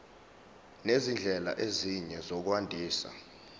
nezindlela ezinye zokwandisa